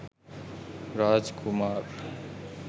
raj kumar